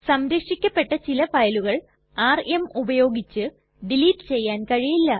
സംരക്ഷിക്കപ്പെട്ട ചില ഫയലുകൾ ആർഎം ഉപയോഗിച്ച് ഡിലീറ്റ് ചെയ്യാൻ കഴിയില്ല